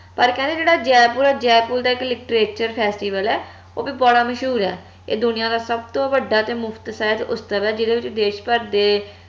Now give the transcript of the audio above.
ਪਰ ਕਹਿੰਦੇ ਜੇਹੜਾ ਜੈਪੁਰ ਆ ਜੈਪੁਰ ਦਾ ਇਕ literature festival ਆ ਓਹ ਵੀ ਬੜਾ ਮਸ਼ਹੂਰ ਆ ਏ ਦੁਨੀਆਂ ਦਾ ਸਬਤੋ ਵੱਡਾ ਤੇ ਮੁਫ਼ਤ ਉਤਸਵ ਆ ਜਿਹਦੇ ਵਿਚ ਦੇਸ਼ ਭਰ ਦੇ